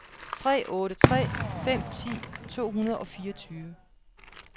tre otte tre fem ti to hundrede og fireogtyve